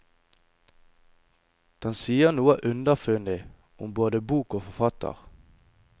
Den sier noe underfundig, om både bok og forfatter.